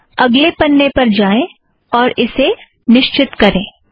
आओ अगले पन्ने पर जाएं और इसे निश्चित करें